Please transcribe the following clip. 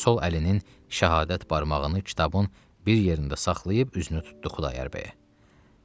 Sol əlinin şəhadət barmağını kitabın bir yerində saxlayıb üzünü tutdu Xudayar bəyə.